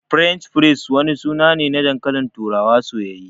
"French fries" wani suna ne na dankalin turawa soyayye.